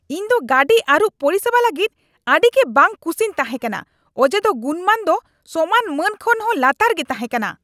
ᱤᱧ ᱫᱚ ᱜᱟᱹᱰᱤ ᱟᱹᱨᱩᱵ ᱯᱚᱨᱤᱥᱮᱵᱟ ᱞᱟᱹᱜᱤᱫ ᱟᱹᱰᱤ ᱜᱤ ᱵᱟᱝ ᱠᱩᱥᱤᱧ ᱛᱟᱸᱦᱮ ᱠᱟᱱᱟ ᱚᱡᱮ ᱫᱚ ᱜᱩᱱᱢᱟᱱ ᱫᱚ ᱥᱚᱢᱟᱱ ᱢᱟᱹᱱ ᱠᱷᱚᱱ ᱦᱚᱸ ᱞᱟᱛᱟᱨ ᱜᱤ ᱛᱟᱦᱮᱸ ᱠᱟᱱᱟ ᱾